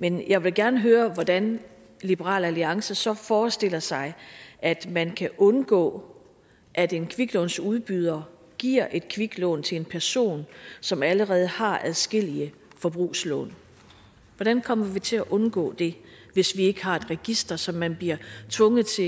men jeg vil gerne høre hvordan liberal alliance så forestiller sig at man kan undgå at en kviklånsudbyder giver et kviklån til en person som allerede har adskillige forbrugslån hvordan kommer vi til at undgå det hvis vi ikke har et register som man bliver tvunget til